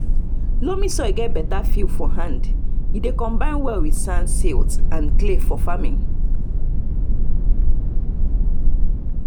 loamy soil get better feel for hand e dey combine well with sand silt and clay for farming.